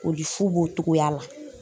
O di fu b'o togoya la.